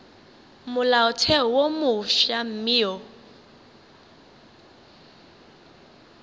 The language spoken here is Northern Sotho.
molaotheo wo mofsa mme o